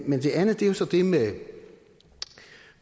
men det andet er jo så det med